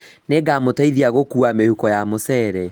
Nĩngamũteithia gũkua mĩhuko ya mũcere